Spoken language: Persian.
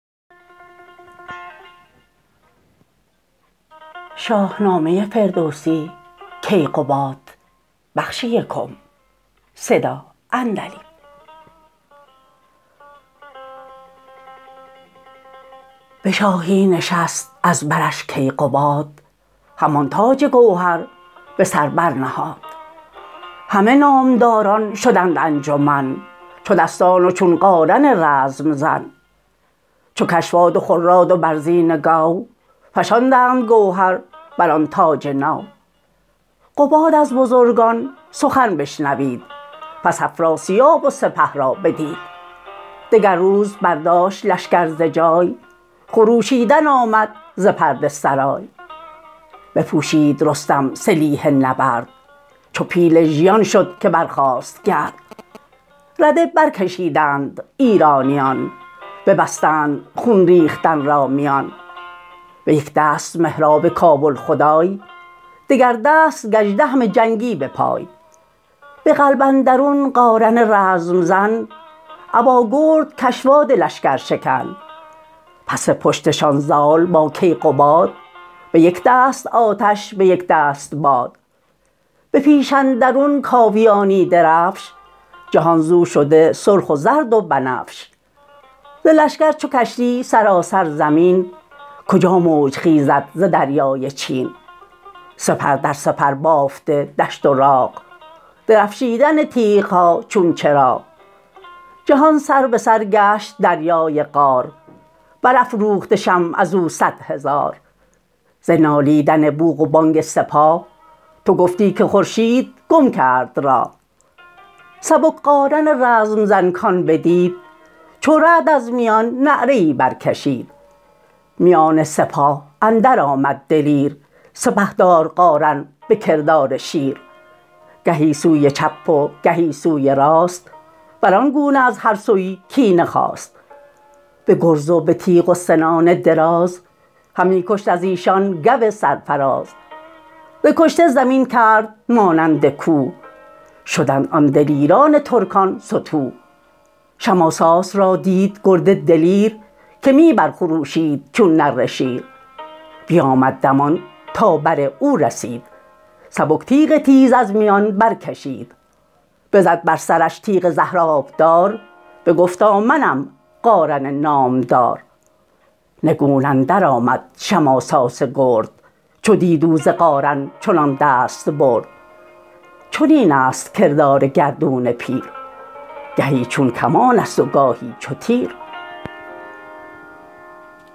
به شاهی نشست از برش کیقباد همان تاج گوهر به سر برنهاد همه نامداران شدند انجمن چو دستان و چون قارن رزم زن چو کشواد و خراد و برزین گو فشاندند گوهر بران تاج نو قباد از بزرگان سخن بشنوید پس افراسیاب و سپه را بدید دگر روز برداشت لشکر ز جای خروشیدن آمد ز پرده سرای بپوشید رستم سلیح نبرد چو پیل ژیان شد که برخاست گرد رده بر کشیدند ایرانیان ببستند خون ریختن را میان به یک دست مهراب کابل خدای دگر دست گژدهم جنگی به پای به قلب اندرون قارن رزم زن ابا گرد کشواد لشگر شکن پس پشت شان زال با کیقباد به یک دست آتش به یک دست باد به پیش اندرون کاویانی درفش جهان زو شده سرخ و زرد و بنفش ز لشکر چو کشتی سراسر زمین کجا موج خیزد ز دریای چین سپر در سپر بافته دشت و راغ درفشیدن تیغها چون چراغ جهان سر به سر گشت دریای قار برافروخته شمع ازو صدهزار ز نالیدن بوق و بانگ سپاه تو گفتی که خورشید گم کرد راه سبک قارن رزم زن کان بدید چو رعد از میان نعره ای برکشید میان سپاه اندر آمد دلیر سپهدار قارن به کردار شیر گهی سوی چپ و گهی سوی راست بران گونه از هر سویی کینه خواست به گرز و به تیغ و سنان دراز همی کشت از ایشان گو سرفراز ز کشته زمین کرد مانند کوه شدند آن دلیران ترکان ستوه شماساس را دید گرد دلیر که می برخروشید چون نره شیر بیامد دمان تا بر او رسید سبک تیغ تیز از میان برکشید بزد بر سرش تیغ زهر آبدار بگفتا منم قارن نامدار نگون اندر آمد شماساس گرد چو دید او ز قارن چنان دست برد چنین است کردار گردون پیر گهی چون کمانست و گاهی چو تیر